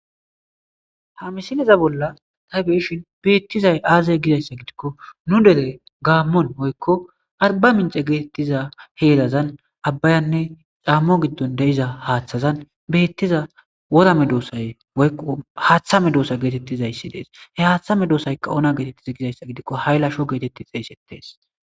Hamisineza bolla taybeshin beettizay aazey gizayssa gidikko nu dere gaammon woykko arba mince geetettiza heelazan abbayanne caammo giddon de7iza haaththazan beettiza worame doosay oykqu haaththame doosa geetettizayssi dees he haaththame doosayka ona geetettiza gizayssa gidikko hay lasho geetetti xeeysettees.